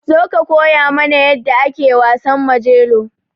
Zo ka koya mana yadda ake wasan Majelo.